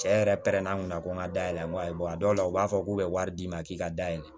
Cɛ yɛrɛ pɛrɛnna n kunna ko n ka da yɛlɛ n ko ayi dɔw la u b'a fɔ k'u bɛ wari d'i ma k'i ka dayɛlɛ